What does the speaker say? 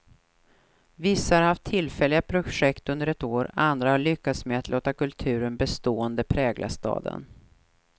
Vissa har haft tillfälliga projekt under ett år, andra har lyckats med att låta kulturen bestående prägla staden.